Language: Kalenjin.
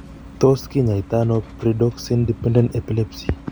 Tot kinyaitano pyridoxine dependent epilepsy